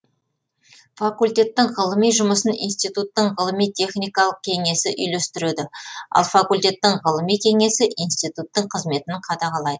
факультеттің ғылыми жұмысын институттың ғылыми техникалық кеңесі үйлестіреді ал факультеттің ғылыми кеңесі институттың қызметін қадағалайды